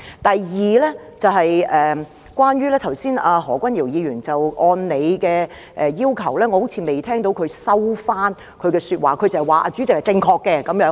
第二，我剛才好像未有聽到何君堯議員按照主席的要求，收回他的說話；他只是說主席是正確的。